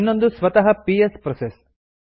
ಇನ್ನೊಂದು ಸ್ವತಃ PS process